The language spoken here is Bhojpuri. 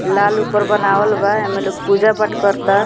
लाल ऊपर बनावल बा एमे लोग पूजा पाठ कर ता।